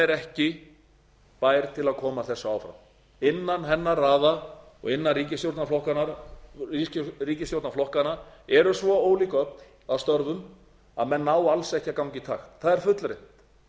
er ekki bær til að koma þessu áfram innan hennar raða og innan ríkisstjórnarflokkanna eru svo ólík öfl að störfum að menn ná alls ekki að ganga í takt það er fullreynt á